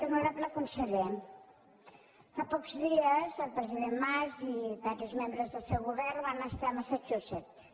honorable conseller fa pocs dies el president mas i diversos membres del seu govern van estar a massachusetts